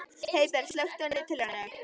Heiðberg, slökktu á niðurteljaranum.